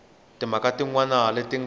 timhaka tin wana leti nga